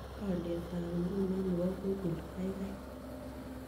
Alyetap nguno ne po google kaigai